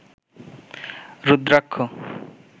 rudraksha